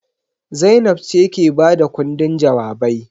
Zainab ce ke ba da ƙundin jawabai.